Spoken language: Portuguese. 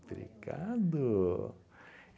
Obrigado!